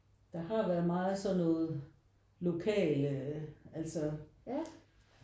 Der har været meget sådan noget lokale altså